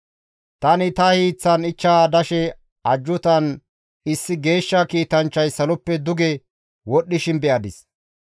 «Tani ta hiiththan ichcha dashe ajjuutan issi geeshsha kiitanchchay saloppe duge wodhdhishin be7adis.